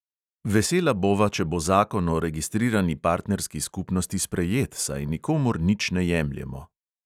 Vesela bova, če bo zakon o registrirani partnerski skupnosti sprejet, saj nikomur nič ne jemljemo.